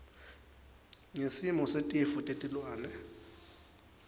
ngesimo setifo tetilwane